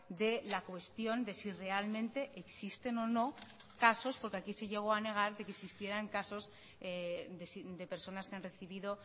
de la cuestión de si realmente existen o no casos porque aquí se llegó a negar que existieran casos de personas que han recibido